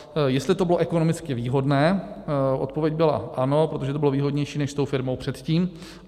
Jestli to bylo ekonomicky výhodné - odpověď byla ano, protože to bylo výhodnější než s tou firmou předtím.